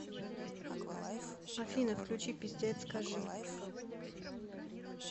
афина включи пиздец скажи